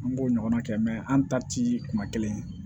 An b'o ɲɔgɔnna kɛ an ta ti kuma kelen ye